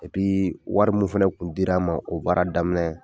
wari mun fana kun dir'an ma o baara daminɛ